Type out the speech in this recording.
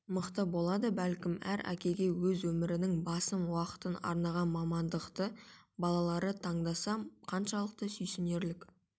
мықты болады бәлкім әр әкеге өз өмірінің басым уақытын арнаған мамандықты балалары таңдаса қаншалықты сүйсінерлік